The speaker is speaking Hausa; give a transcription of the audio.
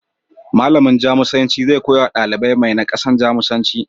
Malamin Jamusanci zai koyawa ɗalibi mai nakasan, Jamusanci.